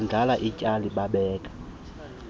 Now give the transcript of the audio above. bondlala ityali babeka